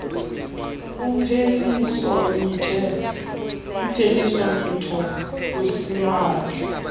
upheliso mitho lusimahla